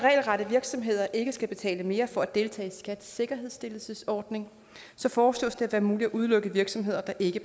at regelrette virksomheder ikke skal betale mere for at deltage i skats sikkerhedsstillelsesordning foreslås det at det er muligt at udelukke virksomheder der ikke